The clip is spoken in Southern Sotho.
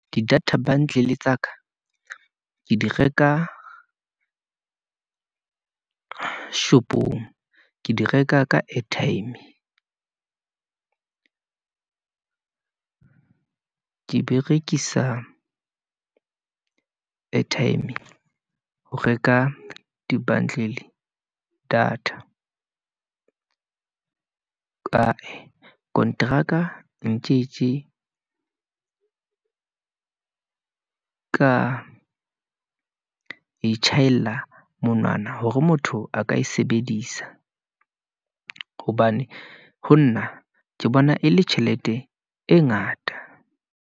Di data bundle tsa ka, ke di reka shop-ong, ke di reka ka airtime , ke berekisa airtime ho reka di bundle data , kae konteraka tje ka e tjhaela monwana hore motho a ka e sebedisa, hobane ho nna ke bona e le tjhelete e ngata.